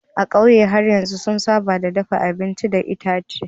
A ƙauyen har yanzu sun saba da dafa abinci da itace.